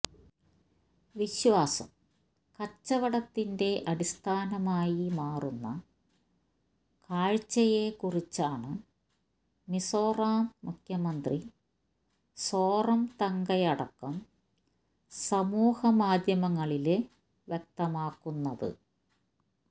വിശ്വാസം കച്ചവടത്തിന്റെ അടിസ്ഥാനമായി മാറുന്ന കാഴ്ചയേക്കുറിച്ചാണ് മിസോറാം മുഖ്യമന്ത്രി സോറംതംഗയടക്കം സമൂഹമാധ്യമങ്ങളില് വ്യക്തമാക്കുന്നത്